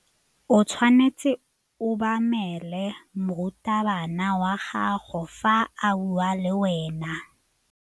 O tshwanetse go obamela morutabana wa gago fa a bua le wena.